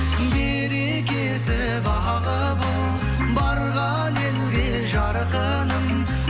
берекесі бағы бол барған елге жарқыным